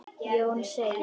Jón segir: